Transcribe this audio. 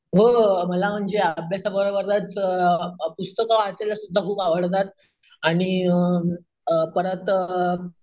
हो मला अभ्यासाबरोबरच पुस्तकं वाचायला सुद्धा खूप आवडतात आणि अम परत अम,